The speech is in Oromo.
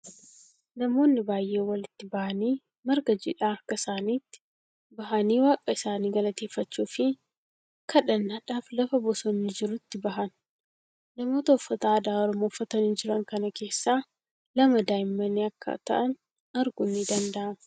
Namoonni baay'en walitti bahanii marga jiidhaa harka isaanitti bahanii waaqa isaanii galateeffachuu fii kadhannaadhaf lafa bosonni jirutti bahan. Namoota uffata aadaa Oromoo uffatanii jiran kana keessaa lama daa'immani akka ta'an arguun ni danda'ama.